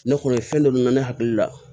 Ne kɔni ye fɛn dɔ de mɛn ne hakili la